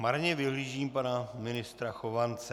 Marně vyhlížím pana ministra Chovance.